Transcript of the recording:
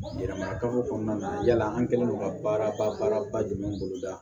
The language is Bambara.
Yɛlɛma kafo kɔnɔna na yala an kɛlen don ka baara ba baara ba jumɛn boloda